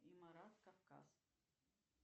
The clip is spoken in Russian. и марат кавказ